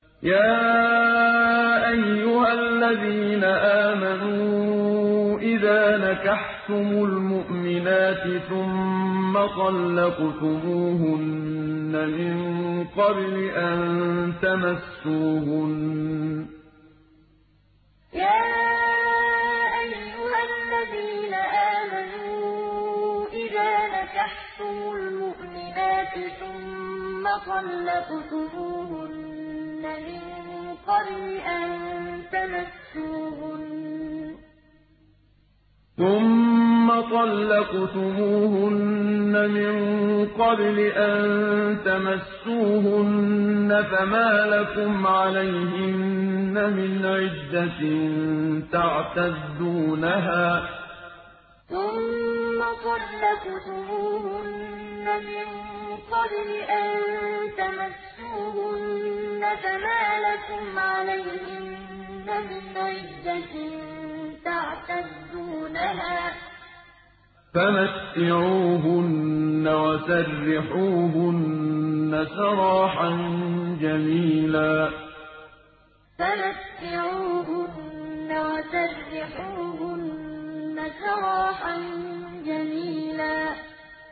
يَا أَيُّهَا الَّذِينَ آمَنُوا إِذَا نَكَحْتُمُ الْمُؤْمِنَاتِ ثُمَّ طَلَّقْتُمُوهُنَّ مِن قَبْلِ أَن تَمَسُّوهُنَّ فَمَا لَكُمْ عَلَيْهِنَّ مِنْ عِدَّةٍ تَعْتَدُّونَهَا ۖ فَمَتِّعُوهُنَّ وَسَرِّحُوهُنَّ سَرَاحًا جَمِيلًا يَا أَيُّهَا الَّذِينَ آمَنُوا إِذَا نَكَحْتُمُ الْمُؤْمِنَاتِ ثُمَّ طَلَّقْتُمُوهُنَّ مِن قَبْلِ أَن تَمَسُّوهُنَّ فَمَا لَكُمْ عَلَيْهِنَّ مِنْ عِدَّةٍ تَعْتَدُّونَهَا ۖ فَمَتِّعُوهُنَّ وَسَرِّحُوهُنَّ سَرَاحًا جَمِيلًا